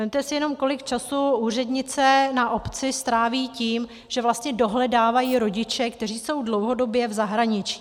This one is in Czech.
Vezměte si jenom, kolik času úřednice na obci stráví tím, že vlastně dohledávají rodiče, kteří jsou dlouhodobě v zahraničí.